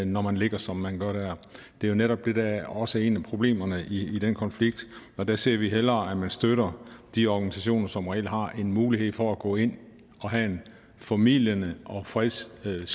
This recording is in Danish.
når man ligger som man gør dér det er jo netop det der også er et af problemerne i den konflikt og der ser vi hellere at man støtter de organisationer som reelt har en mulighed for at gå ind og have en formidlende og fredsskabende